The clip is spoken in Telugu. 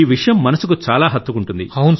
ఈ విషయం మనసుకు చాలా హత్తుకుంటుంది